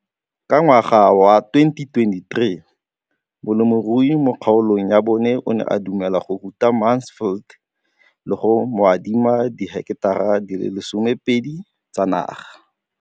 Ka ngwaga wa 2013, molemirui mo kgaolong ya bona o ne a dumela go ruta Mansfield le go mo adima di heketara di le 12 tsa naga.